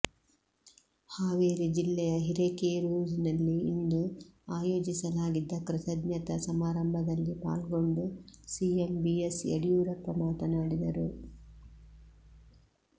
ಹಾವೇರಿ ಜಿಲ್ಲೆಯ ಹಿರೆಕೇರೂರಿನಲ್ಲಿ ಇಂದು ಆಯೋಜಿಸಲಾಗಿದ್ದ ಕೃತಜ್ಞತಾ ಸಮಾರಂಭದಲ್ಲಿ ಪಾಲ್ಗೊಂಡು ಸಿಎಂ ಬಿಎಸ್ ಯಡಿಯೂರಪ್ಪ ಮಾತನಾಡಿದರು